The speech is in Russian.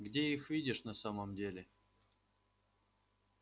где их видишь на самом деле